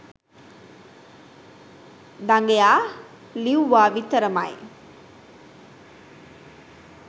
දඟයා ලිව්වා විතරමයි